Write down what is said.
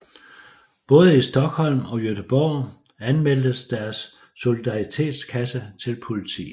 Både i Stockholm og Göteborg anmeldtes deres solidaritetskasse til politiet